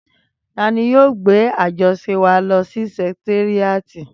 Tani yóò gbé àjọṣe wa lọ sí sẹkitéríàtì?